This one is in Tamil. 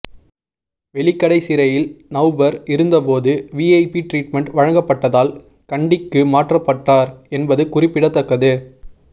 வெலிக்கடைச் சிறையில் நவ்பர் இருந்தபோது விஐபி டிரீட்மென்ட் வழங்கப்பட்டதால் கண்டிக்கு மாற்றப்பட்டார் என்பது குறிப்பிடத்தக்கது